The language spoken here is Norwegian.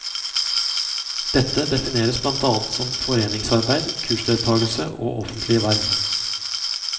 Dette defineres blant annet som foreningsarbeid, kursdeltagelse og offentlige verv.